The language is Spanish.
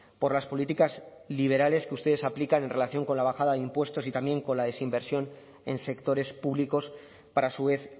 por las políticas liberales que ustedes aplican en relación con la bajada de impuestos y también con la desinversión en sectores públicos para a su vez